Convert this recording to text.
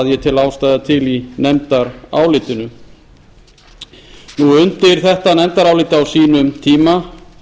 ég tel ástæðu til í nefndarálitinu undir þetta nefndarálit á sínum tíma